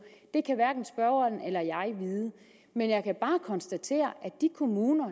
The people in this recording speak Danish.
det kan hverken spørgeren eller jeg vide men jeg kan bare konstatere at de kommuner